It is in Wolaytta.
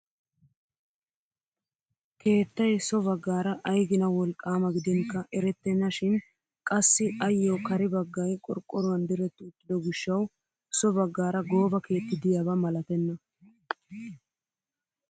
Keettay so baggaara aygina wolqqama gidinkka erettena shin qassi ayoo kare baggay qorqqoruwaan dirett uttido gishshawu so baggaara gooba keetti de'iyaaba malatenna!